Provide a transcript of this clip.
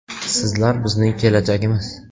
Sizlar bizning kelajagimiz.